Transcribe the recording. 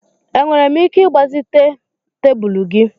Enwere m ike ịgbazite'm tebụl gị?